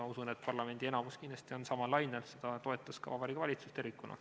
Ma usun, et parlamendi enamus kindlasti on samal lainel, seda toetas ka Vabariigi Valitsus tervikuna.